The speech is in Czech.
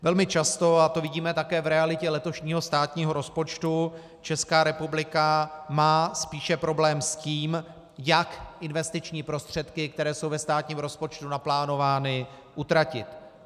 Velmi často, a to vidíme také v realitě letošního státního rozpočtu, Česká republika má spíše problém s tím, jak investiční prostředky, které jsou ve státním rozpočtu naplánovány, utratit.